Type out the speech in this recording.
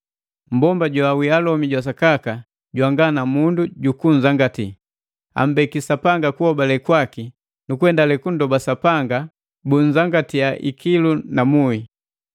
Mmbomba joawii alomi sakaka, jwanga na mundu jukunzangati, ambeki Sapanga hobale laki nukuendale kunndoba Sapanga bunzangatiya ikilu na muhi.